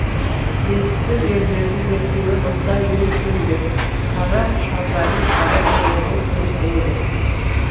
есіл ерлерді ертегі қылсаң ел сенбек қара шалдарым қарай береді кемсеңдеп